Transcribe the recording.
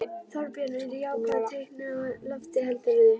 Þorbjörn: Eru jákvæð teikn á lofti heldurðu?